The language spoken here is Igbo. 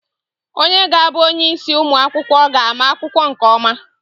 Onye ga-abụ onyeisi ụmụ akwụkwọ ga-ama akwụkwọ nke ọma.